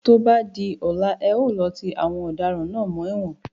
Tó bá di ọ̀la, e ó lọ ti àwọn ọ̀daràn náà mọ́ ẹ̀wọ̀n.